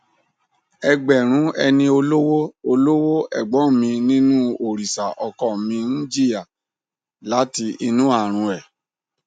ẹgbẹrún ẹni olówó olówó ẹgbọn mi nínú òrìṣà ọkọ mi ń jìyà láti inú àrùn e